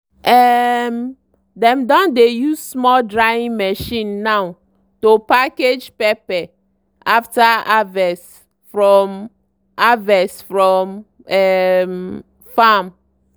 um dem don dey use small drying machine now to package pepper after harvest from harvest from um farm.